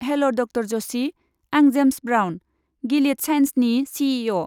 हेल' ड. जशि, आं जेम्स ब्राउन, गिलिड सायेन्सनि चि.इ.अ.।